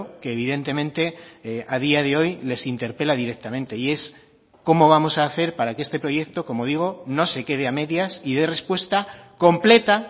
que evidentemente a día de hoy les interpela directamente y es cómo vamos a hacer para que este proyecto como digo no se quede a medias y dé respuesta completa